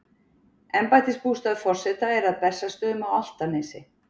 embættisbústaður forseta er að bessastöðum á álftanesi